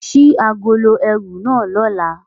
Ṣii agolo ẹru na lọla!